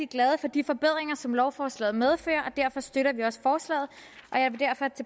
glade for de forbedringer som lovforslaget medfører og derfor støtter vi også forslaget og jeg vil derfor